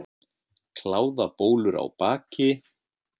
Kláðabólur á baki.